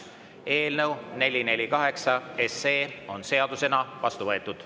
Eelnõu 448 on seadusena vastu võetud.